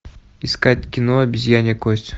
искать кино обезьянья кость